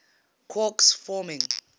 quarks forming